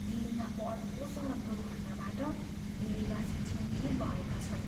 दिल्लीमा बढ्दो सडक दुर्घटनाबाट दिल्लीवासी चिन्तित भएका छन्।